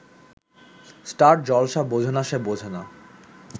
star Jalsha বোঝেনা সে বোঝেনা